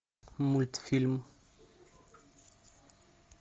мультфильм